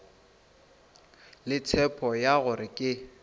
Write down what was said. le tshepo ya gore ke